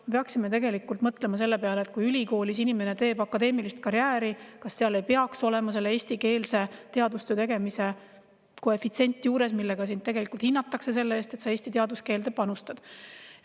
Me peaksime mõtlema selle peale, et kui ülikoolis inimene teeb akadeemilist karjääri, kas seal ei peaks siis juures olema eestikeelse teadustöö tegemise koefitsient, millega teda hinnatakse selle eest, et ta eesti teaduskeelde panustab.